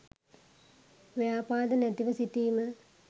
ව්‍යාපාද නැතිව සිටීම